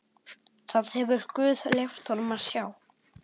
Það hefur guð leyft honum að sjá.